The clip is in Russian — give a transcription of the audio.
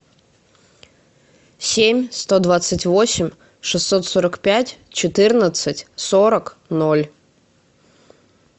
семь сто двадцать восемь шестьсот сорок пять четырнадцать сорок ноль